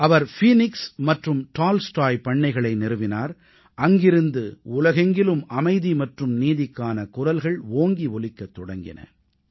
அவர் Phoenix மற்றும் Tolstoy பண்ணைகளை நிறுவினார் அங்கிருந்து உலகெங்கிலும் அமைதி மற்றும் நீதிக்கான குரல்கள் ஓங்கி ஒலிக்கத் தொடங்கின